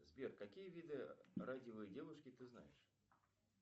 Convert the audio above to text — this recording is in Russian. сбер какие виды радивой девушки ты знаешь